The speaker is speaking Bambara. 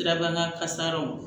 Sirabana kasaraw